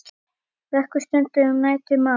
Vöku stunda um nætur má.